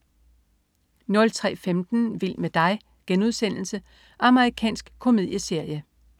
03.15 Vild med dig.* Amerikansk komedieserie